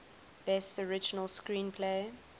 best original screenplay